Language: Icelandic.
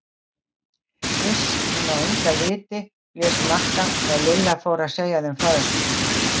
Iss, hún á enga liti blés Magga þegar Lilla fór að segja þeim frá þessu.